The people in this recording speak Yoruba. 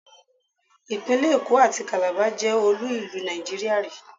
Ìpínlẹ̀ Èkó àti Kàlábá jẹ́ olú-ìlú Nàìjíríà rì í.